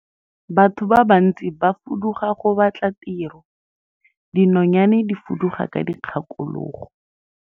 Batho ba bantsi ba fuduga go batla tiro, dinonyane di fuduga ka dikgakologo.